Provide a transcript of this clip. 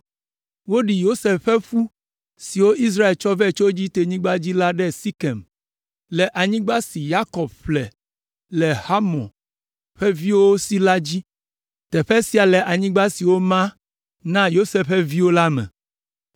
Woɖi Yosef ƒe ƒu siwo Israel tsɔ vɛ tso Egiptenyigba dzi la ɖe Sekem, le anyigba si Yakob ƒle le Hamor ƒe viwo si la dzi. Teƒe sia le anyigba si woma na Yosef ƒe viwo la me.